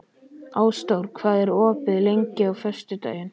Ásdór, hvað er opið lengi á föstudaginn?